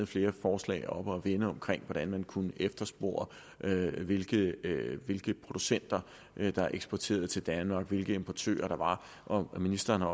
flere forslag oppe at vende omkring hvordan man kunne efterspore hvilke hvilke producenter der eksporterede til danmark hvilke importører der var og ministeren har